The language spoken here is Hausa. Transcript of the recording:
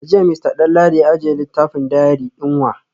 A jiya Mr Danladi ya ajiye littafin diary din wa?